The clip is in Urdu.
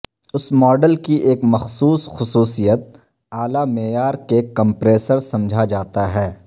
اس ماڈل کی ایک مخصوص خصوصیت اعلی معیار کے کمپریسر سمجھا جاتا ہے